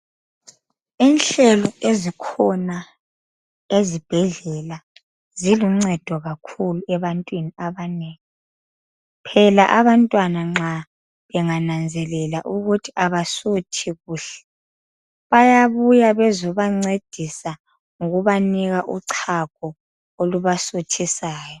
Inhlelo ezikhona ezibhedlela ziluncedo kakhulu ebantwini abanengi. Phela abantwana nxa bengananzelela ukuthi abasuthi kuhle bayabuya bezobancedisa ngokubanika uchago olubasuthisayo.